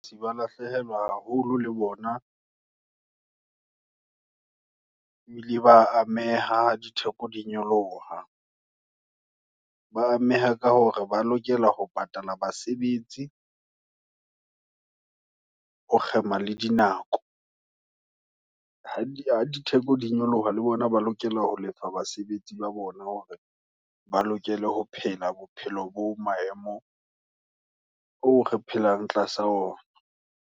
Seba lahlehelwa haholo le bona, ebile ba ameha, ha ditheko di nyoloha, ba ameha ka hore, ba lokela ho patala basebetsi, ho kgema le dinako. Ha ha ditheko di nyoloha, le bona, ba lokela, ho lefa basebetsi ba bona, hore ba lokela ho phela, bophelo bo maemo, oo re phelang tlasa ona.